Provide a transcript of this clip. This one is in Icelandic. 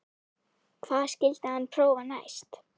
Hvað skyldi hann prófa næst?